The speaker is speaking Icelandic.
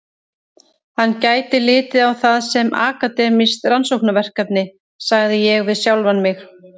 Hann gæti litið á það sem akademískt rannsóknarverkefni, sagði ég við sjálfan mig.